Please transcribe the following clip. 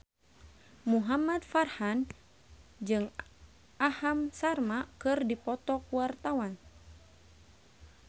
Muhamad Farhan jeung Aham Sharma keur dipoto ku wartawan